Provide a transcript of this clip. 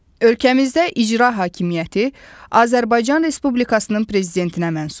Ölkəmizdə icra hakimiyyəti Azərbaycan Respublikasının prezidentinə məxsusdur.